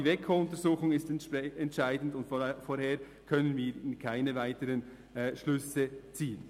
Die WEKO-Untersuchung ist entscheidend, und vorher können wir keine weiteren Schlüsse ziehen.